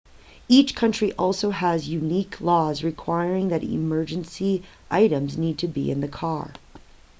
each country also has unique laws requiring what emergency items need to be in the car